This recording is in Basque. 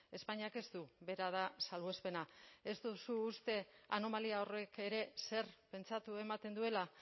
espainiak ez du bera da salbuespena ez duzu uste anomalia horrek ere zer pentsatu ematen duela